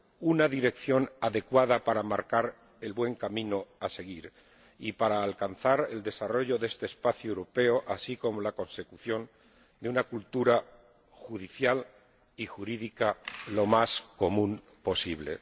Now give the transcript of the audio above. una dirección adecuada para marcar el buen camino a seguir y para alcanzar el desarrollo de este espacio europeo, así como la consecución de una cultura judicial y jurídica lo más común posible.